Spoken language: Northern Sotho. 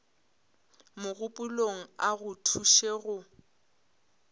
mogopolong a go thuše go